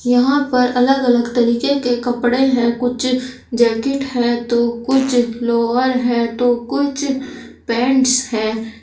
यहां पर अलग अलग तरीके के कपड़े हैं कुछ जैकेट है तो कुछ लोअर हैं तो कुछ पेंट्स हैं।